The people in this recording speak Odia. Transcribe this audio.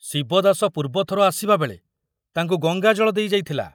ଶିବଦାସ ପୂର୍ବଥର ଆସିବାବେଳେ ତାଙ୍କୁ ଗଙ୍ଗାଜଳ ଦେଇ ଯାଇଥିଲା।